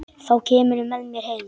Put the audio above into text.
Þá kemurðu með mér heim.